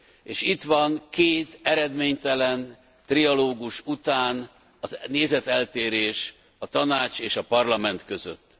És itt van két eredménytelen trialógus után nézeteltérés a Tanács és a Parlament között.